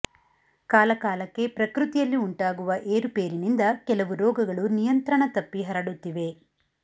ಕಾಲಕಾಲಕ್ಕೆ ಪ್ರಕೃತಿಯಲ್ಲಿ ಉಂಟಾಗುವ ಏರುಪೇರಿನಿಂದ ಕೆಲವು ರೋಗಗಳು ನಿಯಂತ್ರಣ ತಪ್ಪಿ ಹರಡುತ್ತಿವೆ